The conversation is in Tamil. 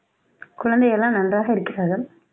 குழந்தைகள் எல்லாம் நன்றாக இருக்கிறார்கள்